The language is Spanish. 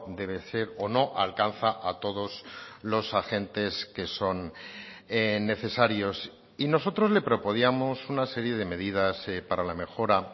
debe ser o no alcanza a todos los agentes que son necesarios y nosotros le proponíamos una serie de medidas para la mejora